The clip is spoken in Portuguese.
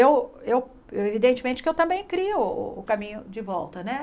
Eu eu, evidentemente, que eu também crio o caminho de volta, né?